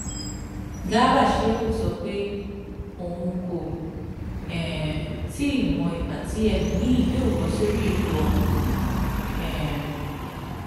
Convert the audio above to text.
garba shehu sọ pé òun kò um tí ì mọ ìgbà tí ẹlòmíín yóò bọ sórí ipò ọhún um